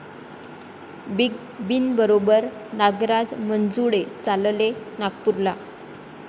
big बींबरोबर नागराज मंजुळे चालले नागपूरला